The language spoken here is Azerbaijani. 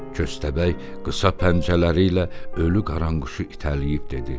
Köstəbək qısa pəncələri ilə ölü qaranquşu itələyib dedi: